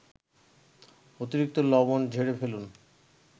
অতিরিক্ত লবণ ঝেড়ে ফেলুন